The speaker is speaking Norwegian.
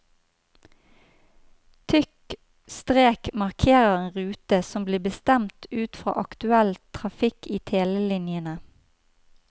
Tykk strek markerer en rute som blir bestemt ut fra aktuell trafikk i telelinjene.